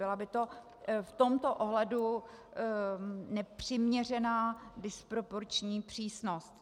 Byla by to v tomto ohledu nepřiměřená disproporční přísnost.